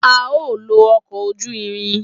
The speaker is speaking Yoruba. A o lo ọkọ ojú irin.